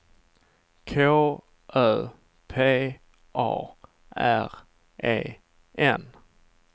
K Ö P A R E N